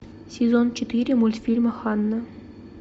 сезон четыре мультфильма ханна